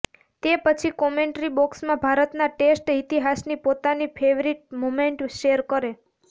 તે પછી કોમેન્ટ્રી બોક્સમાં ભારતના ટેસ્ટ ઇતિહાસની પોતાની ફેવરિટ મોમેન્ટ શેર કરે